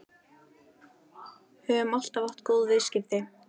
Við höfum alltaf átt góð viðskipti